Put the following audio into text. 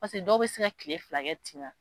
Paseke dɔw bɛ se ka kile filakɛ tina.